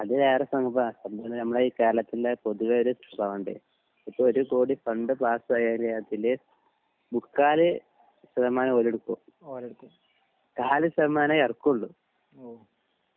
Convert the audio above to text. ആ അത് വേറെ സംഭവാ നമ്മെ ഈ കേരളത്തിലെ പൊതുവെ ഒരു സ്വഭാവണ്ട് ഇപ്പൊ ഒരു കോടി ഫണ്ട് പാസായാൽ അതിൽ മുക്കാൽ ശതമാനം ഓല് ഇട്ക്കും കാൽ ശതമാനെ എറക്കോളു